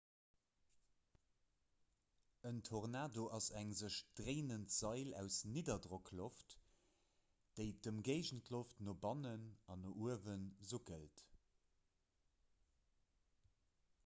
en tornado ass eng sech dréinend sail aus nidderdrockloft déi d'ëmgéigendloft no bannen an no uewe suckelt